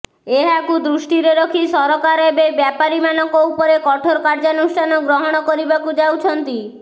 ଏହାକୁ ଦୃଷ୍ଟିରେ ରଖି ସରକାର ଏବେ ବେପାରୀମାନଙ୍କ ଉପରେ କଠୋର କାର୍ଯ୍ୟାନୁଷ୍ଠାନ ଗ୍ରହଣ କରିବାକୁ ଯାଉଛନ୍ତି